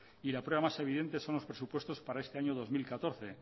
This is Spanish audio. y la prueba más evidente son los presupuestos para este año dos mil catorce